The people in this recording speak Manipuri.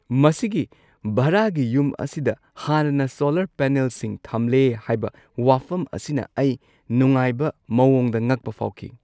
ꯃꯁꯤꯒꯤ ꯚꯔꯥꯒꯤ ꯌꯨꯝ ꯑꯁꯤꯗ ꯍꯥꯟꯅꯅ ꯁꯣꯂꯔ ꯄꯦꯅꯦꯜꯁꯤꯡ ꯊꯝꯂꯦ ꯍꯥꯏꯕ ꯋꯥꯐꯝ ꯑꯁꯤꯅ ꯑꯩ ꯅꯨꯡꯉꯥꯏꯕ ꯃꯑꯣꯡꯗ ꯉꯛꯄ ꯐꯥꯎꯈꯤ ꯫